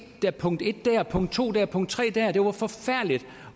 der punkt en dér punkt to dér punkt tre dér det var forfærdeligt